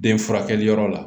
Den furakɛliyɔrɔ la